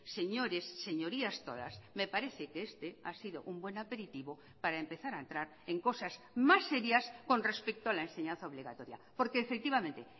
señores señorías todas me parece que este ha sido un buen aperitivo para empezar a entrar en cosas más serias con respecto a la enseñanza obligatoria porque efectivamente